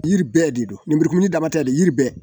Yiri bɛɛ de don lenburukumuni damatɛmɛ yiri bɛɛ